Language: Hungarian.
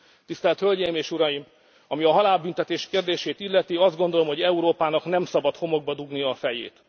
áll. Tisztelt Hölgyeim és Uraim, ami a halálbüntetés kérdését illeti, azt gondolom, hogy Európának nem szabad homokba dugnia a